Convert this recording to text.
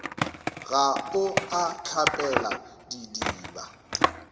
ga o a hlapela didiba